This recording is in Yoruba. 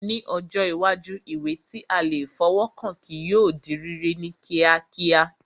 Ní ọjọ́ iwájú, ìwé tí a lè fọwọ́ kàn kí yóò di rírí ní kíákíá